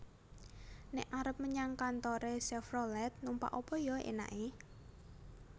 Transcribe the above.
Nek arep menyang kantore Chevrolet numpak apa yo enake?